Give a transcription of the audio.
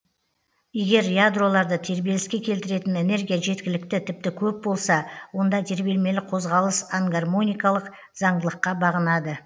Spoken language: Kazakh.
егер ядроларды тербеліске келтіретін энергия жеткілікті тіпті көп болса онда тербелмелі қозғалыс ангармоникалық заңдылыққа бағынады